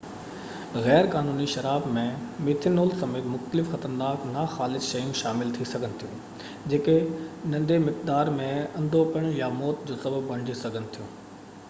غيرقانوني شراب ۾ ميٿينول سميت مختلف خطرناڪ ناخالص شيون شامل ٿي سگهن ٿيون جيڪي ننڍي مقدارن م انڌوپڻ يا موت جو سبب بڻجي سگهن ٿيون